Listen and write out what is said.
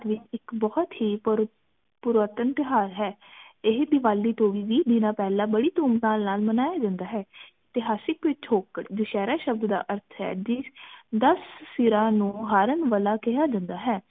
ਇਕ ਬਹੁਤ ਹੀ ਪੁਰਾਤਨ ਤਿਉਹਾਰ ਹੈ ਇਹ ਦੀਵਾਲੀ ਤੋਂ ਵੀ ਦੀਨਾ ਪਹਿਲਾ ਬੜੀ ਧੂਮ ਧਾਮ ਨਾਲ ਮਨਾਇਆ ਜਾਂਦਾ ਹੈ ਇਤਹਾਸਿਕ ਪਿਛੋਕੜ ਦੁਸਹਿਰਾ ਸ਼ਬਦ ਦਾ ਅਰਥ ਹੈ ਦਸ ਸਿਰਾ ਨੂੰ ਹਾਰਨ ਵਾਲਾ ਕੇਹੀਆਂ ਜਾਂਦਾ ਹੈ